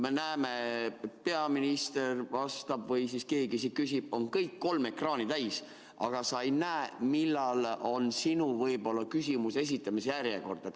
Me näeme, et peaminister vastab või keegi küsib, aga kõik kolm ekraani on täis ja sa ei näe, millal on sinu küsimuse esitamise järjekord.